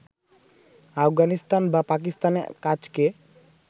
আফগানিস্তান বা পাকিস্তানে কাজকে